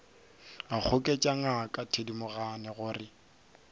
a goketša ngaka thedimogane gore